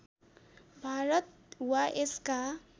भारत वा यसका